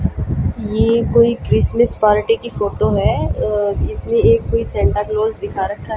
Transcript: यह कोई Christmas party की फोटो है इसमें एक कोई संता क्लॉस दिखा रखा है।